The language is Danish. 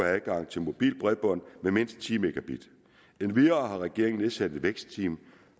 adgang til mobilt bredbånd med mindst ti mb endvidere har regeringen nedsat et vækstteam